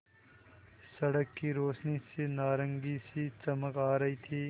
सड़क की रोशनी से नारंगी सी चमक आ रही थी